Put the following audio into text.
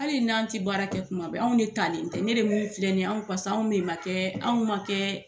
Hali n'an tɛ baara kɛ tuma bɛ, anw de talen tɛ , ne ni min filɛ nin ye anw de ma kɛ, anw ma kɛ